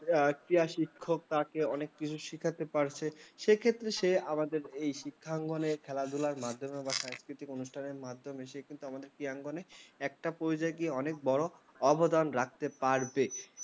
কেয়া শিক্ষক তাকে অনেক কিছু শেখাতে পারছে সেক্ষেত্রে সে আমাদের এই শিক্ষা ঙ্গনে খেলাধুলার মাধ্যমে ও সাংস্কৃতিক অনুষ্ঠানের মাধ্যমে সে কিন্তু আমার প্রিয়া অঙ্গনে একটা পর্যায়ে অনেক বড় অবদান রাখতে পারবে ।